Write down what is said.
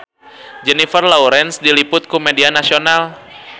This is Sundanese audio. Jennifer Lawrence diliput ku media nasional